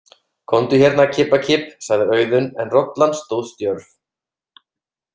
Komdu hérna, kibbakibb, sagði Auðunn en rollan stóð stjörf.